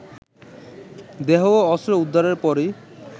দেহ ও অস্ত্র উদ্ধারের পরই